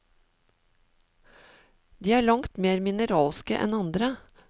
De er langt mer mineralske enn andre.